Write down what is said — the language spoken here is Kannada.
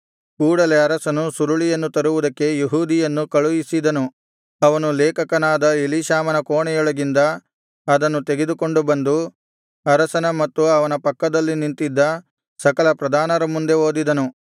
ಕೂಡಲೆ ಅರಸನು ಸುರುಳಿಯನ್ನು ತರುವುದಕ್ಕೆ ಯೆಹೂದಿಯನ್ನು ಕಳುಹಿಸಿದನು ಅವನು ಲೇಖಕನಾದ ಎಲೀಷಾಮನ ಕೋಣೆಯೊಳಗಿಂದ ಅದನ್ನು ತೆಗೆದುಕೊಂಡು ಬಂದು ಅರಸನ ಮತ್ತು ಅವನ ಪಕ್ಕದಲ್ಲಿ ನಿಂತಿದ್ದ ಸಕಲ ಪ್ರಧಾನರ ಮುಂದೆ ಓದಿದನು